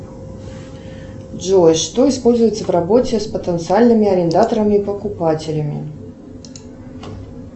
джой что используется в работе с потенциальными арендаторами и покупателями